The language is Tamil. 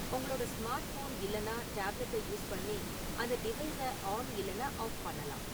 உங்களோட ஸ்மார்ட்ஃபோன் இல்லென்னா டேப்லெட்டைப் யூஸ் பண்ணி அந்த டிவைஸை ஆன் இல்லென்னா ஆஃப் பண்ணலாம்